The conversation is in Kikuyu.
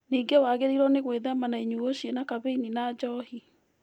Ningĩ nĩwagĩrĩirwo nĩ gwĩthema na inyuo ciĩna kabeini na njohi